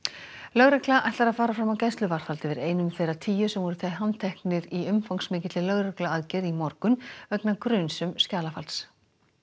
lögregla ætlar að fara fram á gæsluvarðhald yfir einum þeirra tíu sem voru handteknir í umfangsmikilli lögregluaðgerð í morgun vegna gruns um skjalafals